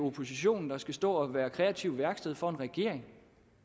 oppositionen der skal stå og være kreativt værksted for regeringen